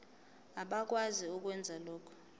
abakwazi ukwenza lokhu